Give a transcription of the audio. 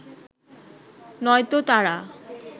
নয়তো তারা